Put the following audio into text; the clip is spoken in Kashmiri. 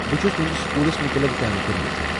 بہٕ چُھس تُہندِس سكوُلس مُتعلق زانكٲری یژھان ۔